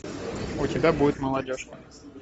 у тебя будет молодежка